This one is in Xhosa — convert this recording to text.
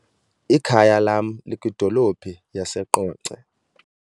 Ikhaya lam likwidolophu yaseQonce.